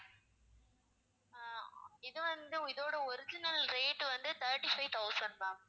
ஆஹ் இது வந்து இதோட original rate வந்து thirty-five thousand ma'am